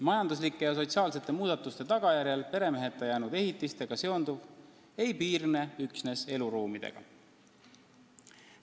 Majanduslike ja sotsiaalsete muudatuste tagajärjel peremeheta jäänud ehitistega seonduv ei piirne üksnes eluruumidega.